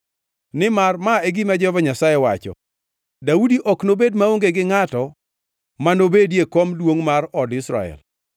Nimar ma e gima Jehova Nyasaye wacho: ‘Daudi ok nobed maonge gi ngʼato manobedi e kom duongʼ mar od Israel,